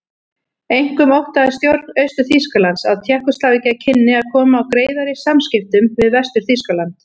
Einkum óttaðist stjórn Austur-Þýskalands að Tékkóslóvakía kynni að koma á greiðari samskiptum við Vestur-Þýskaland.